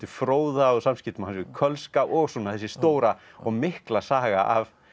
fróða og samskiptum hans við Kölska og þessi stóra og mikla saga af